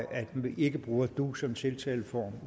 at vi ikke bruger du som tiltaleform